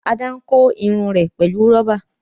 Ada n kò Irun rẹ pẹlú roba.